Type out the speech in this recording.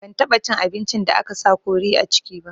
Ban taɓa cin abincin da aka sa kori a ciki ba